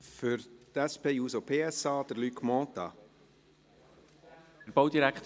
Für die SP-JUSO-PSA, Luc Mentha.